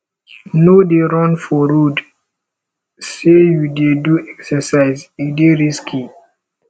no dey run for road sey you dey do exercise e dey risky